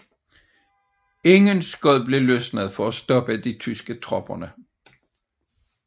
Ingen skud blev løsnet for at stoppe de tyske tropper